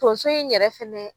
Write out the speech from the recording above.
Tonso in yɛrɛ fɛnɛ